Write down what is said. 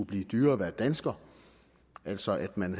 blive dyrere at være dansker altså at man